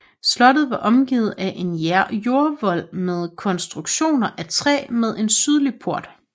Slottet var omgivet af en jordvolde med kontstruktioner af træ med en sydlige port